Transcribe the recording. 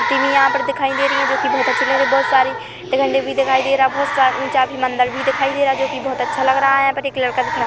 तीन यहाँ पे दिखाई दे रही है जो की बहुत अच्छी लग रही बहुत सारी झंडे भी दिखाई दे रहे हैं बहुत सा चाभी भी दिखाई दे रहा हैं जो की बहुत अच्छा लग रहा हैं यहाँ एक लड़का भी खड़ा--